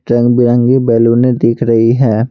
रंग-बिरंगी बैलूने दिख रही है।